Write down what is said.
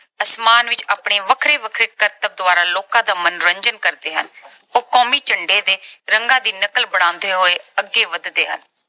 ਅਸਮਾਨ ਵਿੱਚ ਆਪਣੇ ਵੱਖਰੇ-ਵੱਖਰੇ ਕਰਤਬਾਂ ਦੁਆਰਾ ਲੋਕਾਂ ਦਾ ਮਨੋਰੰਜਨ ਕਰਦੇ ਹਨ। ਉਹ ਕੌਮੀ ਝੰਡੇ ਦੇ ਰੰਗਾਂ ਦੀ ਨਕਲ ਬਣਾਉਂਦੇ ਹੋਏ ਅੱਗੇ ਵਧਦੇ ਹਨ।